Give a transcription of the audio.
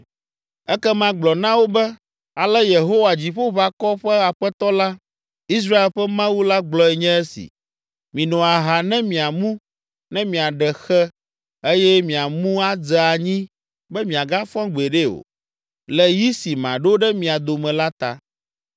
“Ekema gblɔ na wo be, ‘Ale Yehowa Dziƒoʋakɔwo ƒe Aƒetɔ la, Israel ƒe Mawu la gblɔe nye esi: “Mino aha ne miamu, ne miaɖe xe eye miamu adze anyi be miagafɔ gbeɖe o, le yi si maɖo ɖe mia dome la ta.” ’